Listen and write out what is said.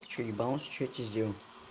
ты что ебанулся что я тебе сделал